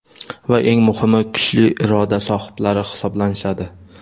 va eng muhimi kuchli iroda sohiblari hisoblanishadi.